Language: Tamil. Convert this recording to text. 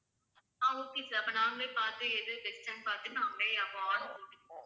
ஆஹ் okay sir அப்ப நாங்களே பார்த்து எது best ன்னு பார்த்து நாங்களே அப்ப order போட்டுக்குறோம்